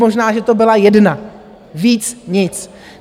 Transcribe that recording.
Možná, že to byla jedna, víc nic.